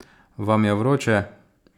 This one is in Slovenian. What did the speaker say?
Vam je vroče?